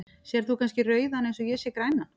Sérð þú kannski rauðan eins og ég sé grænan?.